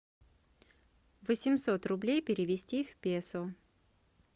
восемьсот рублей перевести в песо